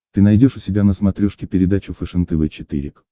ты найдешь у себя на смотрешке передачу фэшен тв четыре к